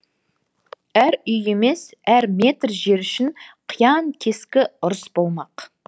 әр үй емес әр метр жер үшін қиян кескі ұрыс болмақ